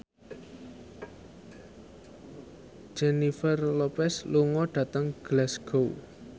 Jennifer Lopez lunga dhateng Glasgow